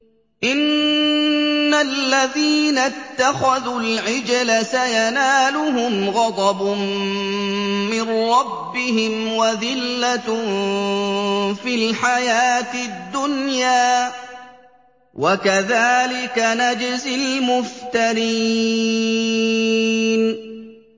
إِنَّ الَّذِينَ اتَّخَذُوا الْعِجْلَ سَيَنَالُهُمْ غَضَبٌ مِّن رَّبِّهِمْ وَذِلَّةٌ فِي الْحَيَاةِ الدُّنْيَا ۚ وَكَذَٰلِكَ نَجْزِي الْمُفْتَرِينَ